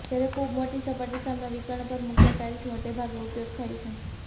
જ્યારે ખૂબ મોટી સપાટી સામનો વિકર્ણ પર મૂક્યા ટાઇલ્સ મોટે ભાગે ઉપયોગ થાય છે